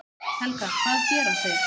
Helga: Hvað gera þeir?